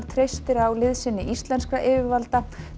treystir á liðsinni íslenskra yfirvalda